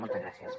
moltes gràcies